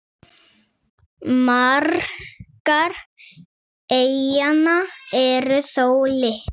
Margar eyjanna eru þó litlar.